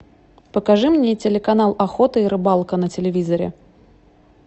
покажи мне телеканал охота и рыбалка на телевизоре